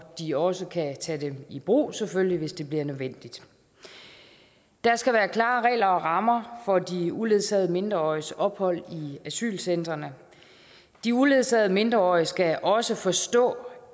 de også kan tage dem i brug hvis det bliver nødvendigt der skal være klare regler og rammer for de uledsagede mindreåriges ophold i asylcentrene de uledsagede mindreårige skal også forstå